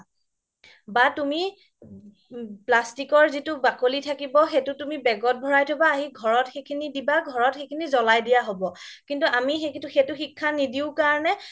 বা তুমি plastic ৰ য্টো বাকলি থাকিব সেইটো তুমি bag ত ভৰাই থবা আহি ঘৰত সিখিনি দিবা ঘৰত জ্লাই দিয়া হ্'ব কিন্তু আমি সেইটো শিক্ষা নিদিও কাৰণে